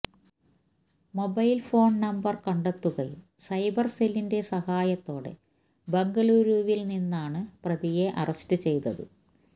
mobile phone number കണ്ടെത്തുകയും cyber സെല്ലിന്റെ സഹായത്തോടെ ബംഗളൂരുവില് നിന്നാണ് പ്രതിയെ അറസ്റ്റ് ചെയ്തത്